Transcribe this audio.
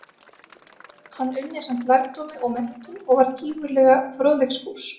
Hann unni samt lærdómi og menntun, og var gífurlega fróðleiksfús.